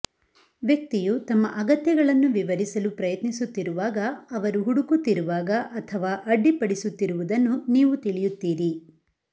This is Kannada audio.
ವ್ಯಕ್ತಿಯು ತಮ್ಮ ಅಗತ್ಯಗಳನ್ನು ವಿವರಿಸಲು ಪ್ರಯತ್ನಿಸುತ್ತಿರುವಾಗ ಅವರು ಹುಡುಕುತ್ತಿರುವಾಗ ಅಥವಾ ಅಡ್ಡಿಪಡಿಸುತ್ತಿರುವುದನ್ನು ನೀವು ತಿಳಿಯುತ್ತೀರಿ